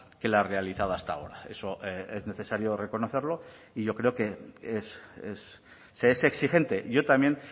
que la realizada hasta ahora eso es necesario reconocerlo y yo creo que es se es exigente yo también